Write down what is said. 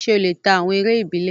Ṣé ó lè ta awọn eré ìbílẹ̀?